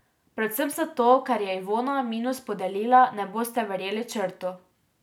Predvsem zato, ker je Ivona minus podelila, ne boste verjeli, Črtu.